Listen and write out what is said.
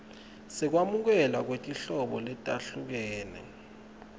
sekwamukelwa kwetinhlobo letahlukene